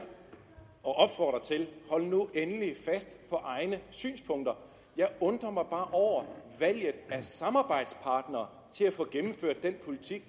hold nu endelig fast på egne synspunkter jeg undrer mig bare over valget af samarbejdspartnere til at få gennemført den politik